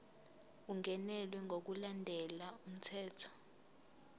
ungenelwe ngokulandela umthetho